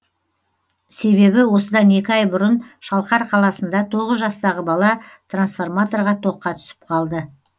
себебі осыдан екі ай бұрын шалқар қаласында тоғыз жастағы бала трансформаторға тоққа түсіп қалды